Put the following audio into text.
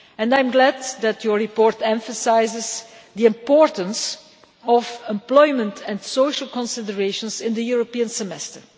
I am glad that the report emphasises the importance of employment and social considerations in the European Semester.